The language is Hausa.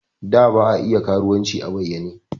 Da ba a iya karuwanci a bayyane.